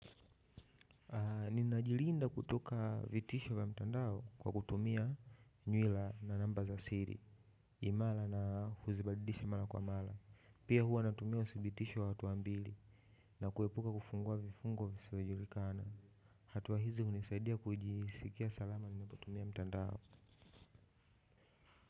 Ninajiliinda kutoka vitisho vya mtandao kwa kutumia nywila na namba za siri imara na huzibadilisha mara kwa mara. Pia huwa natumia uthibitisho wa hatua mbili na kuepuka kufungua vifungo visiojulikana. Hatua hizi hunisaidia kujisikia salama ninapotumia mtandao.